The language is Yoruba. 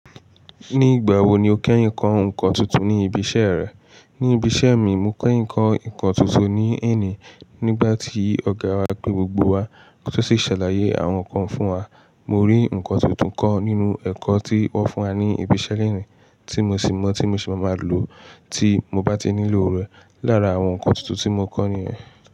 Nígbà wo ni o kẹ́ yèn kọ́ ǹkan tuntun ní ibi iṣẹ́ rẹ? Ní ibi iṣẹ́ mi, mo kẹ́ yèn kọ́ ǹkan tuntun ní ẹ̀ ni nígbà tí ọ̀gá wa pé gbogbo wa kí wọ́n sì ṣàlàyé àwọn ǹkan fún wa. Mo rí ǹkan tuntun kan nínú ẹ̀kọ́ tí wón fún wa ní ibi iṣẹ́ lẹ́ẹ̀ ni tí mo sì mọ̀ tí mo sì máa lò tí mo bá tí ń nílò rẹ̀ lára àwọn ǹkan tuntun tí mo kọ́ ní ẹ.